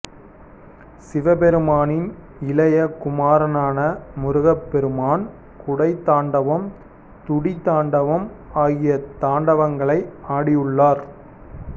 சிவபெருமானின் இளைய குமாரனான முருகப்பெருமான் குடை தாண்டவம் துடி தாண்டவம் ஆகிய தாண்டவங்களை ஆடியுள்ளார்